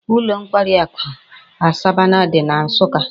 Ulo nkwari aku Asabana di na nsukka